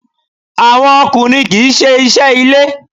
Àwọn ọkùnrin kì í ṣe iṣẹ́ ilé.